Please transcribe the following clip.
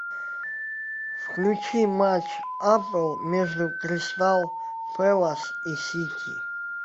включи матч апл между кристал пэлас и сити